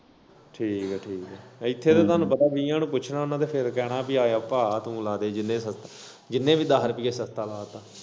ਠੀਕ ਐ ਠੀਕ ਐ ਇੱਥੇ ਤਾਂ ਸਾਨੂੰ ਪਤਾ ਵੀਹਾਂ ਨੂੰ ਪੁੱਛਣਾ ਤੇ ਫੇਰ ਕੈਨਾ ਪੀ ਤੂੰ ਆ ਜਾ ਭਾ ਤੂੰ ਲਾ ਦੇ ਜਿਲੇ ਸਬਜੀ ਜਿੰਨੇ ਦੱਸ ਰੁਪਏ ਸਸਤਾ ਲਾ ਤਾ।